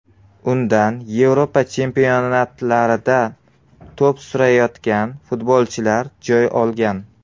Undan Yevropa chempionatlarida to‘p surayotgan futbolchilar joy olgan.